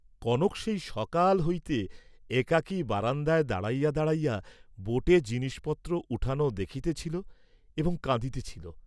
কনক সেই সকাল হইতে একাকী বারান্দায় দাঁড়াইয়া দাঁড়াইয়া বোটে জিনিসপত্র উঠান দেখিতেছিল এবং কাঁদিতেছিল।